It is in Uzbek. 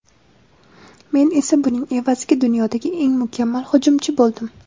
Men esa buning evaziga dunyodagi eng mukammal hujumchi bo‘ldim.